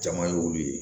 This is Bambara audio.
Jama ye olu ye